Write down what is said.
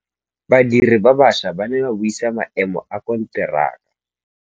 Badiri ba baša ba ne ba buisa maêmô a konteraka.